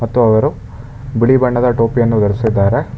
ಮತ್ತು ಅವರು ಬಿಳಿ ಬಣ್ಣದ ಟೋಪಿಯನ್ನು ಧರಿಸಿದ್ದಾರೆ.